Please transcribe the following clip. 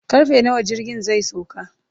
karfe nawa jirgin zai sauka